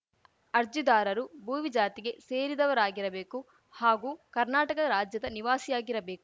ಅರ್ಜಿದಾರರು ಭೋವಿ ಜಾತಿಗೆ ಸೇರಿದವರಾಗಿರಬೇಕು ಹಾಗೂ ಕರ್ನಾಟಕ ರಾಜ್ಯದ ನಿವಾಸಿಯಾಗಿರಬೇಕು